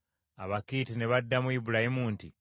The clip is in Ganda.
Abakiiti ne baddamu Ibulayimu nti,